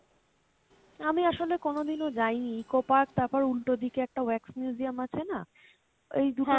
আমি আসলে কোনোদিনও যাইনি Eco Park তারপর উল্টো দিকে একটা museum আছে না? ওই দুটো